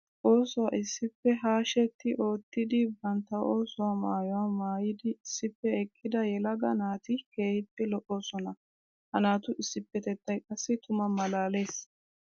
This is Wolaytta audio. Oosuwa issippe hashshetti ootiddi bantta oosuwa maayuwa maayiddi issippe eqidda yelaga naati keehippe lo'ossonna. Ha naatu issippetettay qassi tuma malaales.